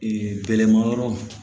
gɛlɛnma yɔrɔ